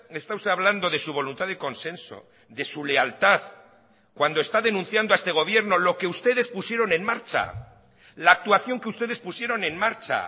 está usted hablando de su voluntad de consenso de su lealtad cuando está denunciando a este gobierno lo que ustedes pusieron en marcha la actuación que ustedes pusieron en marcha